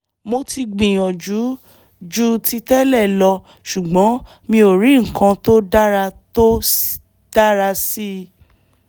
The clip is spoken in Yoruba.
mo ti gbìyànjú ju ti tẹ́lẹ̀ lọ ṣùgbọ́n mi ò rí nǹkan tó dára tó dára sí i